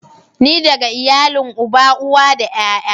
Ni daga iyalin uba, uwa da ƴaƴa.